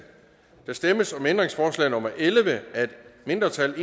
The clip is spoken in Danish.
der stemmes om ændringsforslag nummer elleve af et mindretal